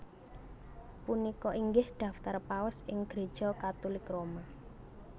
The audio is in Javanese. Punika inggih daftar Paus ing Gréja Katulik Roma